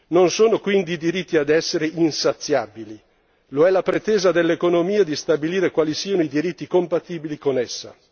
Non sono quindi i diritti ad essere insaziabili lo è la pretesa dell'economia di stabilire quali siano i diritti compatibili con essa.